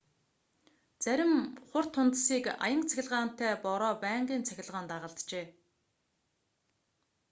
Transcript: зарим хур тунадасыг аянга цахилгаантай бороо байнгын цахилгаан дагалджээ